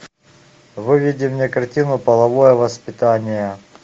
выведи мне картину половое воспитание